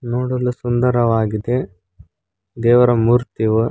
ನೋಡಲು ಸುಂದರವಾಗಿದೆ ದೇವರ ಮೂರ್ತಿಗಳು.